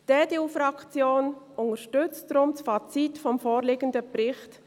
Die EDU-Fraktion unterstützt deshalb das Fazit des vorliegenden Berichts.